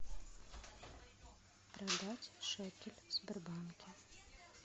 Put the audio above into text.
продать шекель в сбербанке